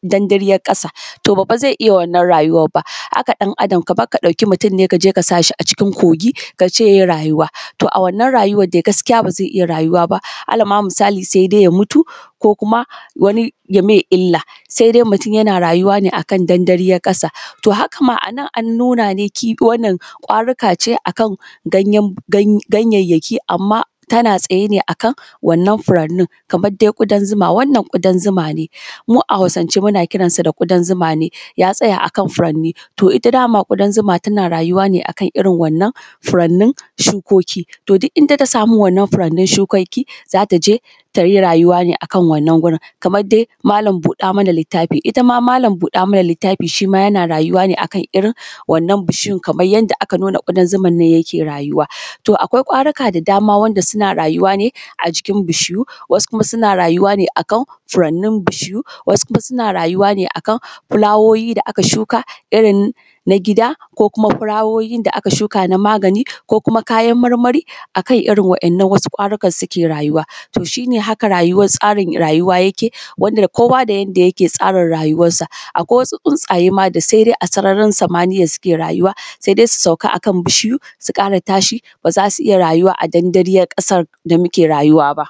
dandaryan kasa, to ba fa zai iya wannan rayuwar ba. Haka dan Adam kamar ka ɗauki mutum ne kaje ka sashi a cikin kogi kace yayi rayuwa, to wannan rayuwa dai gaskiya ba zai iya rayuwa ba, alama misali sai dai ya mutu ko kuma wani ye mai ila, sai dai mutum yana rayuwa ne akan dandaryan kasa. To hakama anan an nuna ne kifi, wannan ƙwaruka ce akan gayyayaki amma tana tsaye ne akan wannan furanin, kaman dai gudan zuma, wannan ƙudan zuma ne. Mu a Hausance muna kiransa da ƙudan zuma ne, ya tsaya akan furani, to ita dama ƙudan zuma tana rayuwa ne akan irin wannan furanin, shukoki, to duk inda ta samu wannan furanin shukokin za ta je tayi rayuwa ne akan wannan wurin. kamar dai malam buɗe mana littafi, Itama malam buɗa mana littafi shima yana rayuwa ne akan irin wannan bishiyan kaman yanda aka nuna kuɗan zuman nan yake rayuwa. To akwai ƙwaruka da dama wanda suna rayuwa ne a cikin bishiyu, wasu kuma suna rayuwa ne akan furanin bishiyu, wasu kuma suna rayuwa ne akan fulawoyi da aka shuka irin na gida ki kuma fulawoyin da aka shuka na magani, ko kuma kayan marmari akan wa’innan wasu ƙwarukan suke rayuwa. Toh shi haka rayuwa tsarin rayuwa yake, wanda kowa da yanda yake tsarin rayuwansa. Akwai wasu tsuntsaye ma da sai dai a sararin samaniya suke rayuwa, sai dai su sauka akan bishiyu su ƙara tashi baza su iya rayuwa a dandaryan ƙasa da muke rayuwa ba.